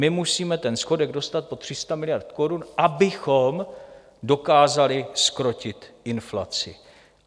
My musíme ten schodek dostat pod 300 miliard korun, abychom dokázali zkrotit inflaci.